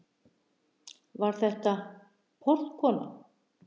Var þetta. portkona?